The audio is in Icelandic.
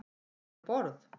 Var hann um borð?